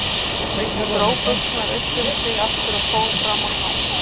Hún dró buxurnar upp um sig aftur og fór fram á gang.